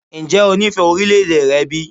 Ǹjẹ́ o nífẹ̀ẹ́ orílẹ̀-èdè rẹ bí?